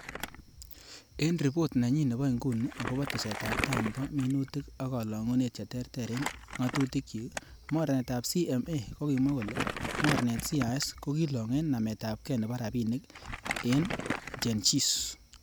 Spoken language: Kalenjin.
En ripot nenyin nebo inguni agobo tesetab tai nebo minutik ab kolongunet che terter en ngatutikyik, mornetab CMA kokimwa kole mornetab CIS kokilong en nametabge nebo rabinik en Genghis.